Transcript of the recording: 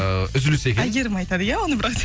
ыыы үзіліс екен әйгерім айтады иә оны бірақ